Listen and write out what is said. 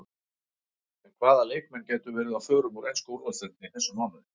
En hvaða leikmenn gætu verið á förum úr ensku úrvalsdeildinni í þessum mánuði?